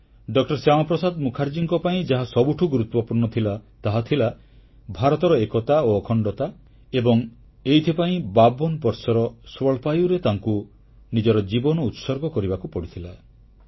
ଡ ଶ୍ୟାମାପ୍ରସାଦ ମୁଖାର୍ଜୀଙ୍କ ପାଇଁ ଯାହା ସବୁଠୁ ଗୁରୁତ୍ୱପୂର୍ଣ୍ଣ ଥିଲା ତାହା ଥିଲା ଭାରତର ଏକତା ଓ ଅଖଣ୍ଡତା ଏବଂ ଏଇଥିପାଇଁ 52 ବର୍ଷର ସ୍ୱଳ୍ପାୟୁରେ ତାଙ୍କୁ ନିଜର ଜୀବନକୁ ଉତ୍ସର୍ଗ କରିବାକୁ ପଡ଼ିଥିଲା